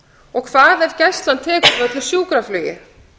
og hvað ef gæslan tekur við öllu sjúkraflugi